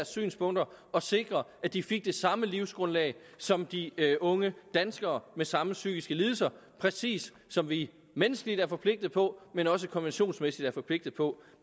synspunkter og sikre at de fik det samme livsgrundlag som de unge danskere med samme psykiske lidelser præcis som vi menneskeligt er forpligtet på men også konventionsmæssigt er forpligtet på